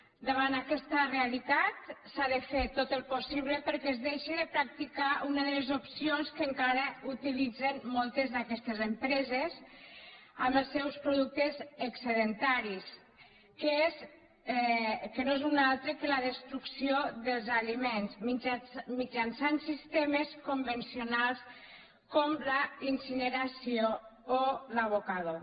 davant aquesta realitat s’ha de fer tot el possible perquè es deixi de practicar una de les opcions que encara utilitzen moltes d’aquestes empreses amb els seus productes excedentaris que no és una altra que la destrucció dels aliments mitjançant sistemes convencionals com la incineració o l’abocador